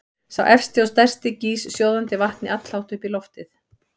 Sá efsti og stærsti gýs sjóðandi vatni allhátt upp í loftið.